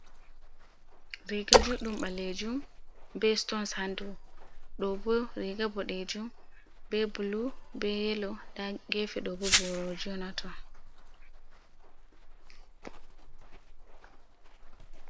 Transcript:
Riga juɗɗum ɓalejum be stons ha dou, ɗobo riga boɗejum be bulu be yelo nda gefe ɗobo boroji on hato.